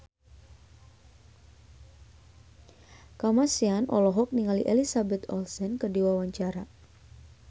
Kamasean olohok ningali Elizabeth Olsen keur diwawancara